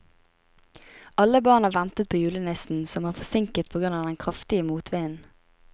Alle barna ventet på julenissen, som var forsinket på grunn av den kraftige motvinden.